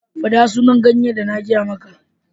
Faɗa sunan ganyen da na gaya muka.